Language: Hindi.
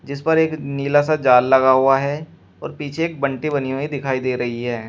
जिस पर एक नीला सा जाल लगा हुआ है और पीछे एक बंटी बनी हुई दिखाई दे रही है।